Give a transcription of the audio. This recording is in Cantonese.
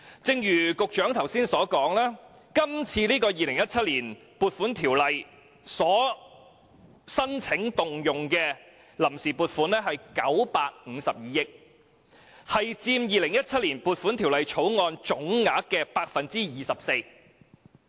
正如局長剛才所說，根據《2017年撥款條例》申請動用的臨時撥款是952億元，佔《2017年撥款條例草案》下撥款總額的 24%。